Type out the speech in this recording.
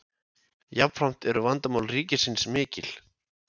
Jafnframt eru vandamál ríkisins mikil.